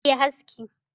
Je kayi haski